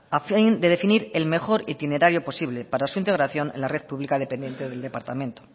a fin de definir el mejor itinerario posible para su integración en la red pública dependiente del departamento